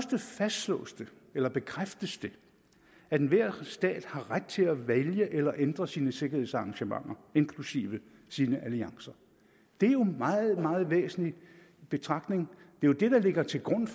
det fastslås eller bekræftes at enhver stat har ret til at vælge eller ændre sine sikkerhedsarrangementer inklusive sine alliancer det er jo en meget meget væsentlig betragtning det er det der ligger til grund